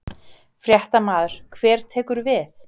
Fréttamaður: Hver tekur við?